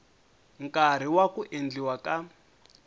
nkarhi wa ku endliwa ka